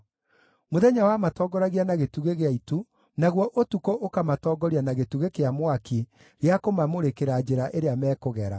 Mũthenya wamatongoragia na gĩtugĩ gĩa itu, naguo ũtukũ ũkamatongoria na gĩtugĩ kĩa mwaki gĩa kũmamũrĩkĩra njĩra ĩrĩa mekũgera.